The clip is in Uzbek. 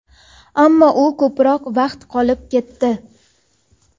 ammo u ko‘proq vaqt qolib ketdi.